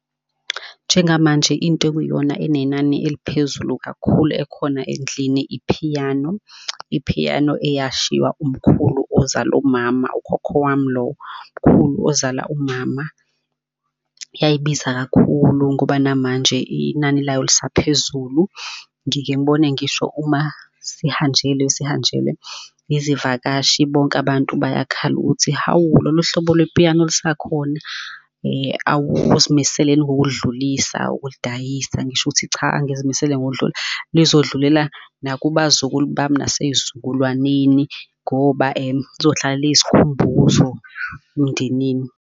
Njengamanje into ekuyiyona enenani eliphezulu kakhulu ekhona endlini, i-piano, i-piano eyashiwa umkhulu ozala umama ukhokho wami lowo, mkhulu ozala umama. Yayibiza kakhulu ngoba namanje inani layo lisaphezulu. Ngike ngibone ngisho uma sihanjelwe, sihanjelwe izivakashi, bonke abantu bayakhala ukuthi hawu lolo hlobo le-piano lisekhona? Awuzimisele yini ngokulidlulisa ukulidayisa? Ngisho ukuthi cha, angizimisele ngokulidlulisa lizodlulela nakubazukulu bami nasey'zukulwaneni ngoba lizohlala liyisikhumbuzo emndenini.